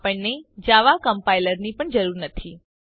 આપણને જાવા કમ્પાઇલરની પણ જરૂર નથી